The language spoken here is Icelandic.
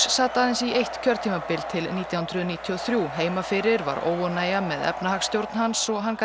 sat aðeins eitt kjörtímabil til nítján hundruð níutíu og þrjú heima fyrir var óánægja með efnahagsstjórn hans og hann gat